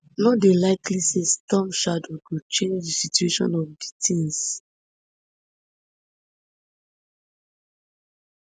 no dey likely say storm shadow go change di situation of di tins